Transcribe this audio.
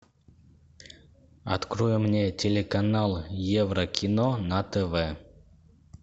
открой мне телеканал еврокино на тв